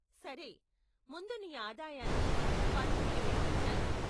సరే, ముందు నీ ఆదాయాన్ని, పన్నుని లెక్కించాలి.